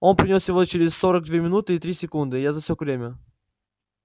он принёс его через сорок две минуты и три секунды я засек время